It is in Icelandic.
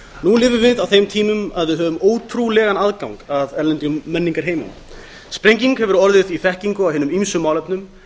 nú lifum við á þeim tímum að við höfum ótrúlegan aðgang að erlendum menningarheimum sprenging hefur orðið í þekkingu á hinum ýmsu málefnum